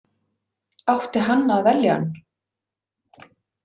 Átti hann að velja hann?